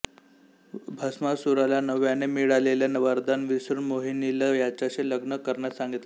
भस्मासुराला नव्याने मिळालेले वरदान विसरून मोहिनीला त्याच्याशी लग्न करण्यास सांगितले